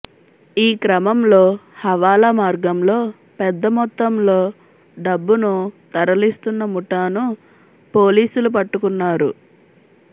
ఈ క్రమంలో హవాలా మార్గంలో పెద్ద మొత్తంలో డబ్బును తరలిస్తున్న ముఠాను పోలీసులు పట్టుకున్నారు